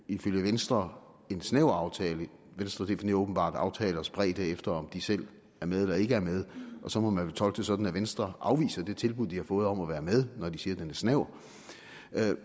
ifølge venstre er en snæver aftale venstre definerer åbenbart aftalers bredde efter om de selv er med eller ikke er med og så må man vel tolke det sådan at venstre afviser det tilbud de har fået om at være med når de siger den er snæver